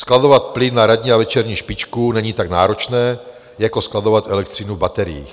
Skladovat plyn na ranní a večerní špičku není tak náročné jako skladovat elektřinu v bateriích.